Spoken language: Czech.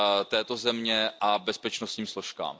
této země a bezpečnostním složkám.